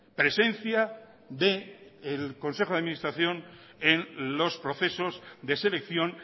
presencia del consejo de administración en los procesos de selección